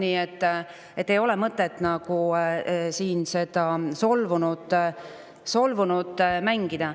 Nii et ei ole mõtet siin solvunut mängida.